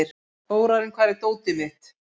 Þórarinn, hvar er dótið mitt?